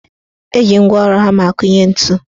Eji ngwaọrụ hama akụnye ntu.